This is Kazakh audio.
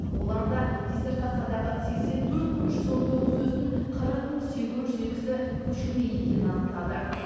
олар да диссертациядағы сексен төрт мың жүз он тоғыз сөздің қырық мың сегіз жүз екісі көшірме екенін анықтады